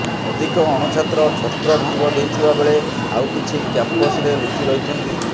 ଅଧିକ ଅଣଛାତ୍ର ଛତ୍ରଭଙ୍ଗ ଦେଇଥିବା ବେଳେ ଆଉ କିଛି କ୍ୟାମ୍ପସରେ ଲୁଚି ରହିଛନ୍ତି